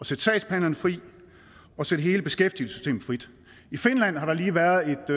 sætte sagsbehandlerne fri og sætte hele beskæftigelsessystemet frit i finland har der lige været et